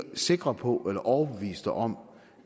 sikre på eller overbeviste om